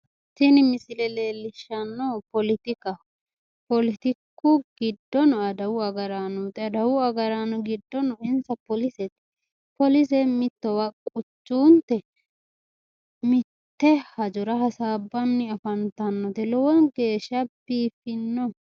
Tini misile leellishannohu poletikaho poletiku giddono adawu agaraanoti adawu agaraano giddono insa polisete polise mittowa quchuunte mitte hajora hasaabbanni afantannote lowo geeshshano biiffino